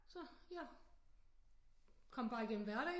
Så jeg kom bare igennem hverdagen